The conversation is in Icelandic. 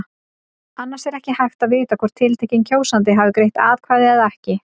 Annars er ekki hægt að vita hvort tiltekinn kjósandi hafi greitt atkvæði eða ekki.